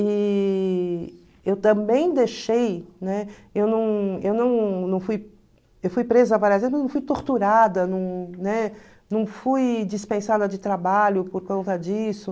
E eu também deixei, né, eu não eu não não fui eu fui presa várias vezes, mas não fui torturada, não, né, não fui dispensada de trabalho por causa disso.